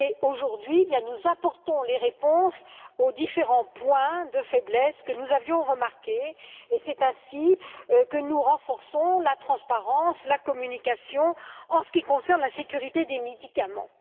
Aujourd'hui, nous apportons des réponses aux différents points faibles que nous avions constatés, et c'est ainsi que nous renforçons la transparence, la communication en ce qui concerne la sécurité des médicaments.